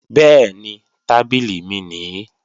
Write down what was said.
Bẹ́ẹ̀ni, tábìlì mi nìí